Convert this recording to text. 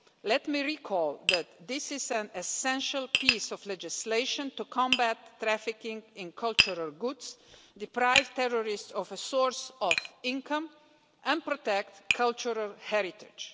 Let me recall that this is an essential piece of legislation to combat trafficking in cultural goods, deprive terrorists of a source of income and protect cultural heritage.